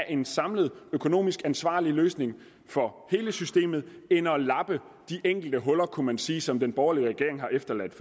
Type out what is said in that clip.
en samlet økonomisk ansvarlig løsning for hele systemet end at lappe de enkelte huller kunne man sige som den borgerlige regering har efterladt